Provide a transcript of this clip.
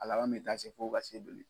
A laban in taa se fo ka se boli.